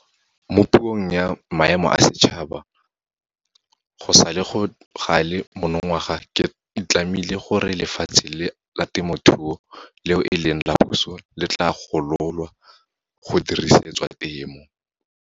Mo Puong ya Maemo a Setšhaba go sale gale monongwaga ke itlamile gore lefatshe la temothuo leo eleng la puso le tla gololwa go dirisetswa temo.